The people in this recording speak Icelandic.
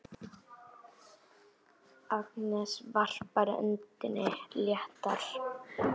Agnes varpar öndinni léttar.